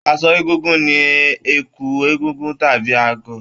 Aṣọ Egúngún ni ẹ̀kú egúngún tàbí agọ̀.